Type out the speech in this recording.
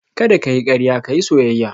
Kada ka yi karya ka yi soyayya